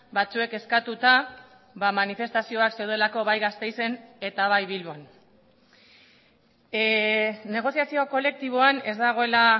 batzuek eskatuta manifestazioak zeudelako bai gasteizen eta bai bilbon negoziazio kolektiboan ez dagoela